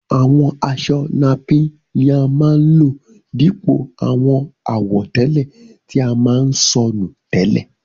Àwọn aṣọ napín ni a máa ń lò dípò àwọn àwọ̀tẹ́lẹ̀ tí a máa ń sọ nù tẹ́lẹ̀.